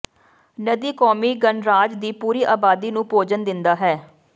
ਨਦੀ ਕੋਮੀ ਗਣਰਾਜ ਦੀ ਪੂਰੀ ਆਬਾਦੀ ਨੂੰ ਭੋਜਨ ਦਿੰਦਾ ਹੈ